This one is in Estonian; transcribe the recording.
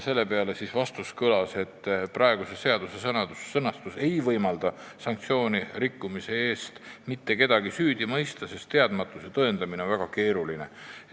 Sellele vastati, et praeguse seaduse sõnastus ei võimalda sanktsiooni rikkumise eest mitte kedagi süüdi mõista, sest teadmatuse tõendamine on väga keeruline.